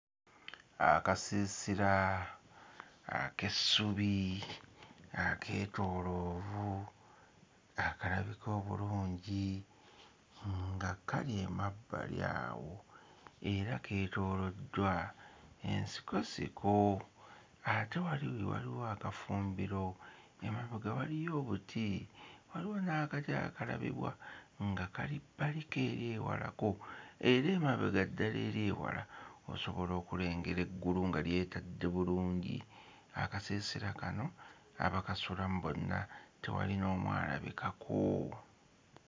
Akasiisira ak'essubi akeetooloovu akalabika obulungi nga kali emabbali awo era keetooloddwa ensikosiko ate wali waliwo akafumbiro, emabega waliyo obuti, waliwo n'akati akalabibwa nga kali bbaliko eri ewalako; eri emabega ddala eri ewala osobola okulengera eggulu nga lyetadde bulungi. Akasiisira kano abakasulamu bonna tewali n'omu alabikako.